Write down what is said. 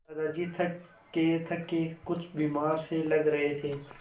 दादाजी थकेथके कुछ बीमार से लग रहे थे